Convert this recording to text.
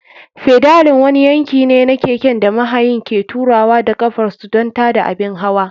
Fedalin wani yanki ne na keken da mahayin ke turawa da ƙafar su don tada abin hawa.